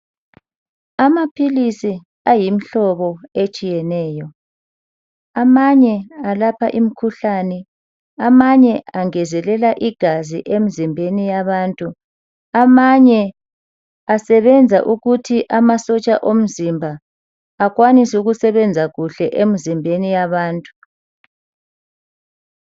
Amaphilisi ayimhlobo etshiyeneyo, amanye alapha imkhuhlane, amanye angezelela igazi emzimbeni yabantu, amanye asebenza ukuthi amasotsha omzimba akwanise ukusebenza kuhle emzimbeni yabantu.